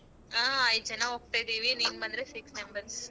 ಆ ಐದ್ ಜನ ಹೋಗ್ತಾ ಇದೀವಿ ನೀನ್ ಬಂದ್ರೆ six members .